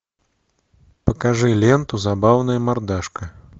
покажи ленту забавная мордашка